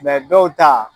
dɔw ta